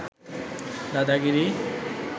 দাদাগিরি